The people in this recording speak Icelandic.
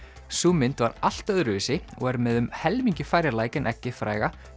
sú mynd var allt öðruvísi og er með um helmingi færri læk en eggið fræga